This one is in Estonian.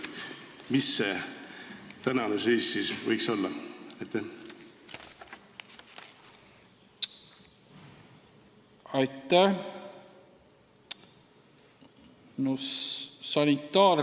Milline see asjade seis praegu on?